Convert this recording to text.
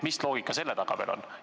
Mis loogika selle taga on?